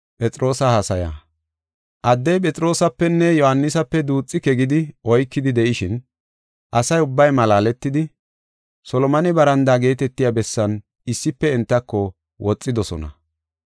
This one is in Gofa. Addey Phexroosapenne Yohaanisape duuxike gidi oykidi de7ishin, asa ubbay malaaletidi, Solomone barandaa geetetiya bessan issife entako woxidosona.